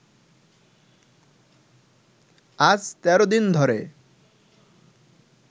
আজ ১৩ দিন ধরে